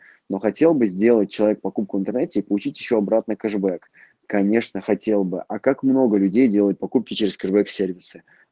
ну хотел бы сделать человек покупку в интернете и получить ещё обратно кэшбэк конечно хотел бы а как много людей делают покупки через кэшбэк сервисы